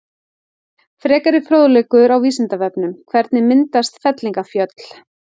Frekari fróðleikur á Vísindavefnum: Hvernig myndast fellingafjöll?